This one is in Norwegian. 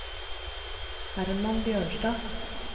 Hermann Bjørnstad